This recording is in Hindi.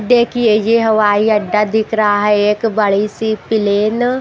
देखिए ये हवाई अड्डा दिख रहा है। एक बड़ी सी प्लेन --